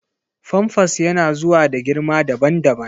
famfas yana zuwa da girma daban-daban.